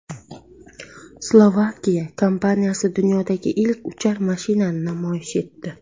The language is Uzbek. Slovakiya kompaniyasi dunyodagi ilk uchar mashinani namoyish etdi .